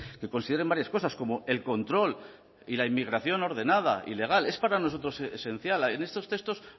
que consideren varias cosas como el control y la inmigración ordenada y legal es para nosotros esencial en estos textos